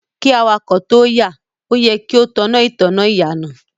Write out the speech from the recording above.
Kí awakọ̀ tóo yà, o yẹ kí o tan ìtanná ìyànà.